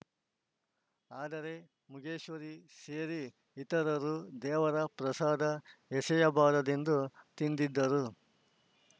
ಆದರೆ ಮಗೇಶ್ವರಿ ಸೇರಿ ಇತರರು ದೇವರ ಪ್ರಸಾದ ಎಸೆಯಬಾರದೆಂದು ತಿಂದಿದ್ದರು